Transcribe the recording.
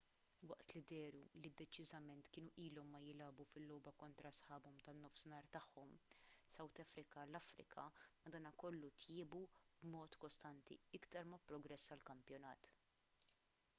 waqt li dehru li deċiżament kienu ilhom ma jilagħbu fil-logħba kontra sħabhom tan-nofsinhar tagħhom south africa l-afrika madankollu tjiebu b'mod kostanti iktar ma pprogressa l-kampjonat